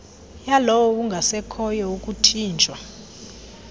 yalowo ungasekhoyo ukuthinjwa